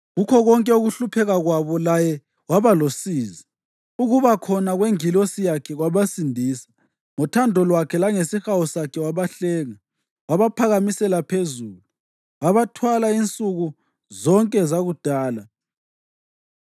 Kukho konke ukuhlupheka kwabo laye waba losizi; ukuba khona kwengilosi yakhe kwabasindisa. Ngothando lwakhe langesihawu sakhe wabahlenga; wabaphakamisela phezulu, wabathwala insuku zonke zakudala.